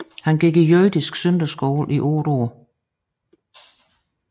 Han gik i jødisk søndagsskole i 8 år